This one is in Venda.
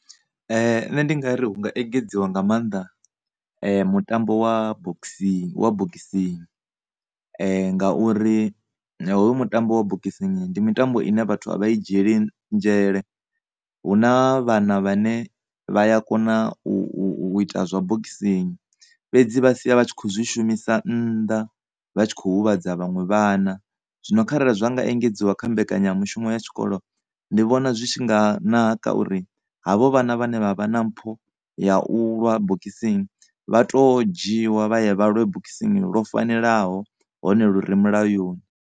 Nṋe ndi ngari hu nga engedziwa nga mannḓa mutambo wa bokisini, wa bokisini, ngauri hoyu mutambo ya bokisini ndi mutambo une vhathu a vha u dzhieli nzhele. Hu na vhana vhane vha ya kona u, u, u, u ita zwa bokisini, fhedzi vha sia vha tshi kho zwi shumisa nnḓa vha tshi kho huvhadza vhaṅwe vhana zwino kharali zwa nga engedziwa kha mbekanyamushumo ya tshikolo ndi vhona zwi tshi nga naka uri havho vhana vhane vha vha na mpho ya u lwa bokisini vha to dzhiiwa vha ye vha lwe bokisini lwo fanelaho hone lu re mulayoni.